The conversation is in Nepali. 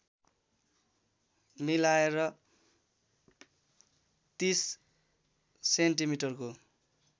मिलाएर ३० सेन्टिमिटरको